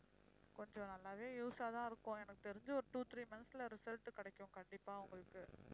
கொஞ்சம் நல்லாவே use ஆ தான் இருக்கும் எனக்கு தெரிஞ்சு ஒரு two three months ல result கிடைக்கும் கண்டிப்பா உங்களுக்கு